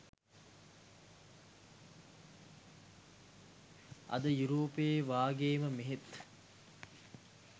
අද යුරෝපයේ වගේ ම මෙහෙත්